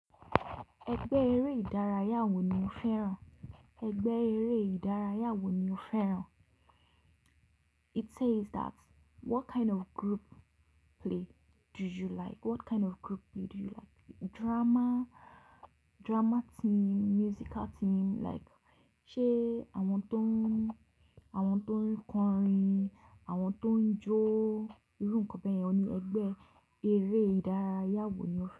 Ẹgbẹ́ eré ìdárayá wo ni o fẹ́ràn? It says that what kind of group play do you like? What kind of group play do you like? Drama, drama team, musical team like, ṣe àwọn tó ń, àwọn tó ń kọrin, àwọn tó ń jó, irú nǹkan yen ni. Ẹgbẹ́ eré ìdárayá wo ni o fẹ́ràn?